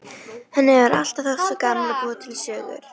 Henni hefur alltaf þótt svo gaman að búa til sögur.